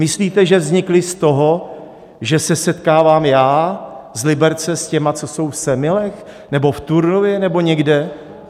Myslíte, že vznikla z toho, že se setkávám já z Liberce s těma, co jsou v Semilech nebo v Turnově nebo někde?